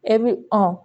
E bi